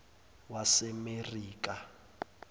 wasemaserikha